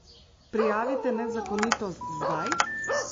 Prijavite nezakonitost zdaj!